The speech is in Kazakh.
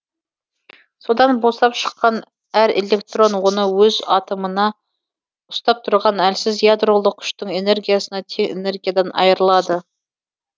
содан босап шыққан әр электрон оны өз атомына ұстап тұрған әлсіз ядролық күштің энергиясына тең энергиядан айырылады